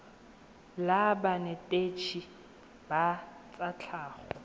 la banetetshi ba tsa tlhago